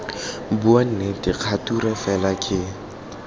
bua nnete kgature fela ke